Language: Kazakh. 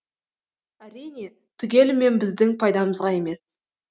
әрине түгелімен біздің пайдамызға емес